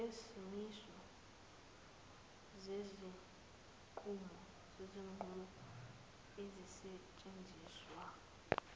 ngezimiso zezinqumo ezisetshenziswa